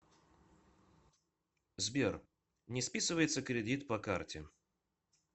сбер не списывается кредит по карте